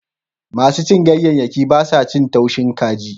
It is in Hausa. Masu cin ganyayyaki ba sa cin taushin kaji.